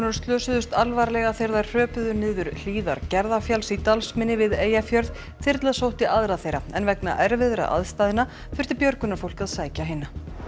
slösuðust alvarlega þegar þær hröpuðu niður hlíðar Gerðafjalls í Dalsmynni við Eyjafjörð þyrla sótti aðra þeirra en vegna erfiðra aðstæðna þurfti björgunarfólk að sækja hina